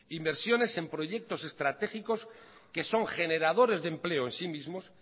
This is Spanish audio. inversiones en proyectos estratégicos que son generadores de empleo en sí mismos